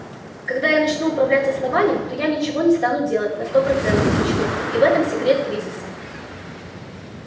когда я начну управлять основанием то я ничего не стану делать на сто процентов ничего и в этом секрет кризиса